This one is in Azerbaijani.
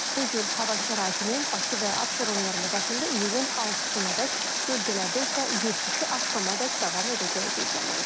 Bu cür hava şəraitinin Bakı və Abşeron yarımadasında iyulun 6-nadək, bölgələrdə isə 7-si axşamadək davam edəcəyi gözlənilir.